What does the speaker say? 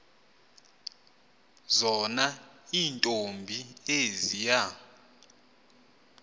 zona iintombi eziya